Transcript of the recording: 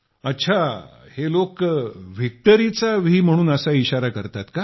अच्छा हे लोक व्हिक्टरीचा व्ही म्हणून असा इशारा करतात का